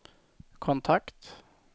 kontakt